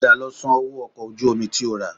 Padà lọ sanwó ọkọ̀ ojú omi tí o rà